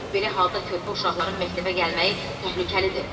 Belə halda körpə uşaqların məktəbə gəlməyi təhlükəlidir.